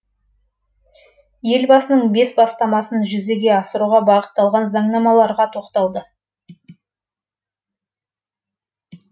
елбасының бес бастамасын жүзеге асыруға бағытталған заңнамаларға тоқталды